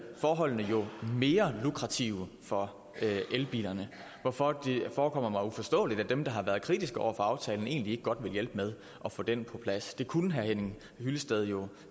forholdene mere lukrative for elbilerne hvorfor det forekommer mig uforståeligt at dem der har været kritiske over for aftalen egentlig ikke godt vil hjælpe med at få den på plads det kunne herre henning hyllested jo